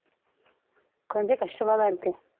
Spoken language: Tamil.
கொஞ்சம் கஷ்டமா தான் இருக்கு